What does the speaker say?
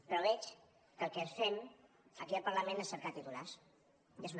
però veig que el que fem aquí al parlament és cercar titulars i és una pena